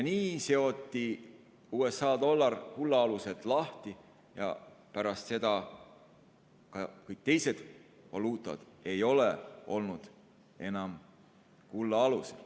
Nii seotigi USA dollar kulla aluselt lahti ja pärast seda ei ole ka teised valuutad olnud enam kulla alusel.